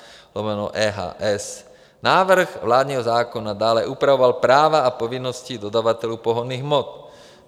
Návrh vládního zákona dále upravoval práva a povinnosti dodavatelů pohonných hmot.